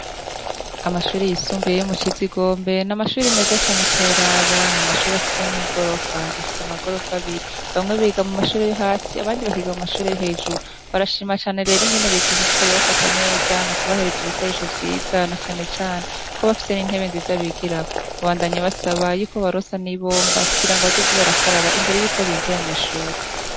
Amashure yisumbiye yo mu ciza igombe n'amashuri meza cane utorabana amashuri afise n'igorofa ifise amagorofa abiri bamwe biga mu mashureyo hasi abandi bakiga mu mashurey hejuru barashima cane rero ingeneriti ishishikari y bafataneza mu kubahereza ibikoresho vyizana canecane ko bafise n'intebe nziza bigirako ubandanye basaba yuko barosa nia bomba kugira ngo abazozi barakaraba imbere yuko binjira mw'ishuri.